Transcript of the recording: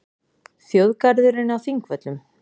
Þjóðgarðurinn á Þingvöllum.